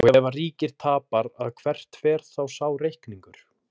Og ef að ríkið tapar að hvert fer þá sá reikningur?